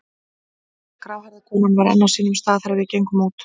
Gráhærða konan var enn á sínum stað þegar við gengum út.